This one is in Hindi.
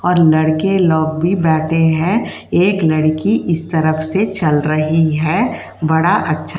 और लड़के लोग भी बैठे हैं। एक लड़की इस तरफ से चल रही है। बड़ा अच्छा --